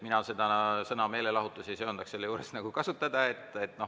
Mina sõna "meelelahutus" ei söandaks selle juures kasutada.